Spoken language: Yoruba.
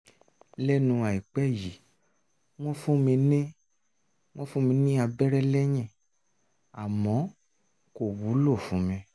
lẹ́nu àìpẹ́ yìí wọ́n fún mi ní fún mi ní abẹ́rẹ́ lẹ́yìn àmọ́ kò wúlò fún mi